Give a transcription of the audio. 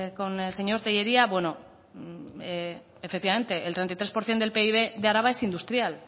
con el señor tellería bueno efectivamente el treinta y tres por ciento del pib de araba es industrial